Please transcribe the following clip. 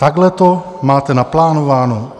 Takhle to máte naplánováno?